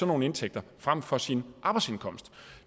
nogle indtægter frem for sin arbejdsindkomst